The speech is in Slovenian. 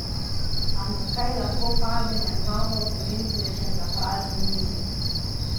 Ampak kaj lahko pade na glavo pomembnežem na prazni njivi?